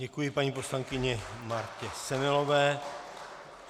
Děkuji paní poslankyni Martě Semelové.